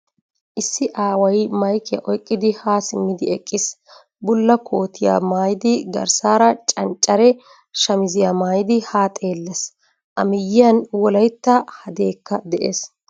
Issi aaway maykkiyaa oyqqidi ha simmidi eqiis. Bullaa kootiya maayidi garssaan canccare shamiziya maayidi haa xeellees. A miyiyani wolaytta hadeekka de"ees.